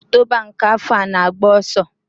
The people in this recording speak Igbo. Ọnwa Ọktoba nke afọ a na-agba ọsọ.